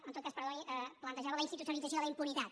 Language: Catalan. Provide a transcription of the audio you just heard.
en tot cas perdoni plantejava la institucionalització de la impunitat